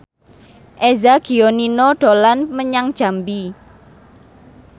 Eza Gionino dolan menyang Jambi